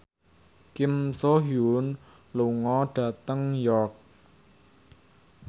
Kim So Hyun lunga dhateng York